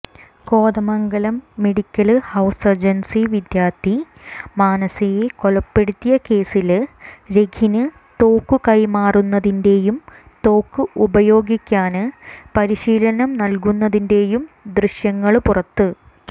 കോതമംഗലത്ത് medical house surgency വിദ്യാര്ത്ഥി മാനസയെ കൊലപ്പെടുത്തിയ കേസില് രഖിന് തോക്കുകൈമാറുന്നതിന്റേയും തോക്ക് ഉപയോഗിക്കാന് പരിശീലനം നല്കുന്നതിന്റേയും ദൃശ്യങ്ങള് പുറത്ത്